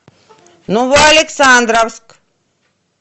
новоалександровск